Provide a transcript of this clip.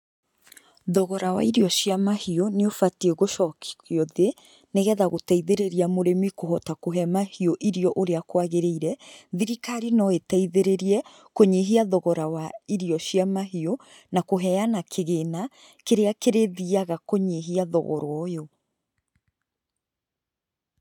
Thogora wa irio cia mahiũ nĩ ũbatiĩ gũcokio thĩ, nĩgetha gũteithĩrĩria mũrĩmi kũhota kũhe mahiũ irio ũrĩa kwagĩrĩire, thirikari no ĩteithĩrĩrie kũnyihia thogora wa irio cia mahiũ , na kũheana kĩgĩna kĩrĩa gĩthiaga kũhinyia thogora ũyũ.